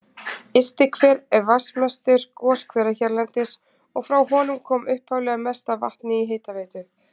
Ystihver er vatnsmestur goshvera hérlendis, og frá honum kom upphaflega mest af vatni í hitaveitu